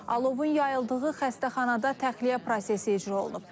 Alovun yayıldığı xəstəxanada təxliyə prosesi icra olunub.